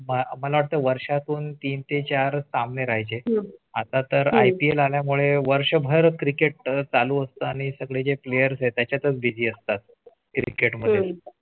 मला वाटतं वर्षा तून तीन ते चार सामने राहाय चे . आता तर IPL आल्या मुळे वर्षभर Cricket चालू असतो आणि सगळे player आहे त्याच्या तच busy असतात. Cricket मध्ये